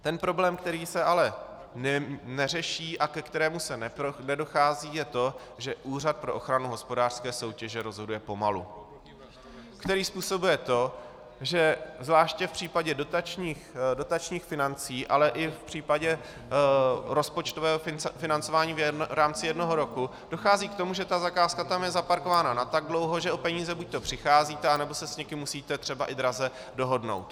Ten problém, který se ale neřeší a ke kterému se nedochází, je to, že Úřad pro ochranu hospodářské soutěže rozhoduje pomalu, který způsobuje to, že zvláště v případě dotačních financí, ale i v případě rozpočtového financování v rámci jednoho roku dochází k tomu, že ta zakázka je tam zaparkována na tak dlouho, že o peníze buďto přicházíte, anebo se s někým musíte třeba i draze dohodnout.